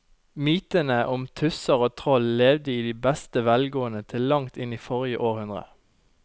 Mytene om tusser og troll levde i beste velgående til langt inn i forrige århundre.